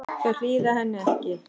Þau hlýða henni ekki.